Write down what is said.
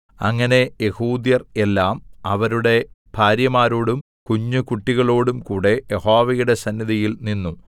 അങ്ങനെ യെഹൂദ്യർ എല്ലാം അവരുടെ ഭാര്യമാരോടും കുഞ്ഞുകുട്ടികളോടും കൂടെ യഹോവയുടെ സന്നിധിയിൽ നിന്നു